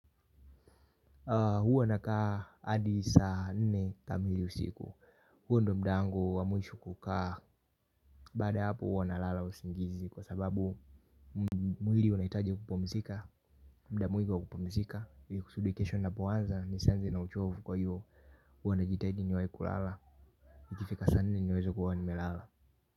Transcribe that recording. Huu nakaa hadi saa nne kamili usiku. Huu ndo mda wangu wa mwisho kukaa. Bada hapo huwa na lala usingizi kwa sababu mwili wanaitaje kupumzika. Muda mwingi wa kupumzika ili kusudi kesho inapoanza nisianze na uchovu kwa hio. Huwa najitahidi niwahi kulala ikifika saa nne niweze kuwa nimelala.